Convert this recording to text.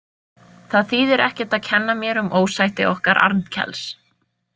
Það þýðir ekkert að kenna mér um ósætti okkar Arnkels.